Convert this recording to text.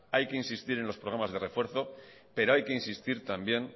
hay que insistir en los programas de refuerzos pero hay que insistir también